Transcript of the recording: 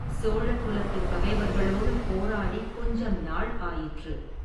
சோழ குலத்துப் பகைவர்களோடு போராடிக் கொஞ்சம் நாள் ஆயிற்று.